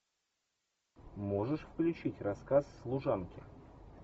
можешь включить рассказ служанки